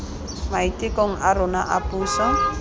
maitekong a rona a puso